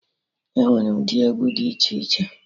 Enwere ụdị egwu dị iche iche